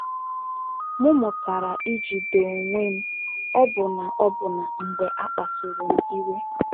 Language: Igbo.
M mụtala ijide onwe m, ọbụna ọbụna mgbe a kpasuru m iwe.